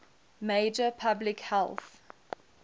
major public health